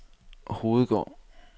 Hovedgård